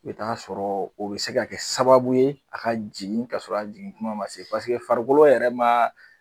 I bɛ t'a sɔrɔ o bɛ se ka kɛ sababu ye a ka jigin ka sɔrɔ a jigin kuma ma se paseke farikolo yɛrɛ ma